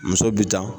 Muso bi ta